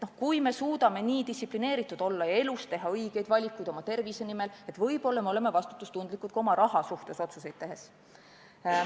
Kui me suudame nii distsiplineeritud olla ja teha elus õigeid valikuid oma tervise nimel, võib-olla siis me oleme vastutustundlikud ka oma raha kasutamise üle otsuseid tehes.